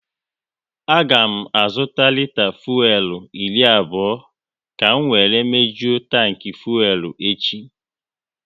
A ga m azụta lita fuelu iri abụọ ka m wéré mejuo tanki fuelu echi